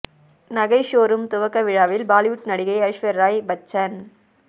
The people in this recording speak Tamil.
நகை ஷோரூம் துவக்க விழாவில் பாலிவுட் நடிகை ஐஸ்வர்யா ராய் பச்சன்